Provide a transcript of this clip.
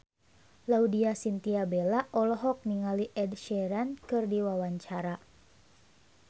Laudya Chintya Bella olohok ningali Ed Sheeran keur diwawancara